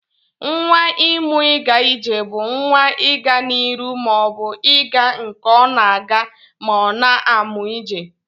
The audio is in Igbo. Nwa imu iga ije bu nwa iga na iru ma o bu iga nke ọna aga ma ọna amụ ije.